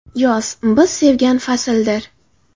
Yoz – biz sevgan fasldir.